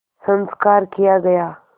संस्कार किया गया